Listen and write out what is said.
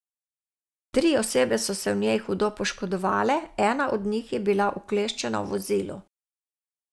Tri osebe so se v njej hudo poškodovale, ena od njih je bila ukleščena v vozilu.